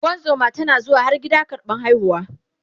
ungozuma tana zuwa har gida karɓan haihuwa